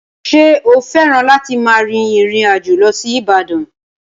Ṣé o fẹ́ràn láti máa rin ìrìn àjò lọ sí Ibadan?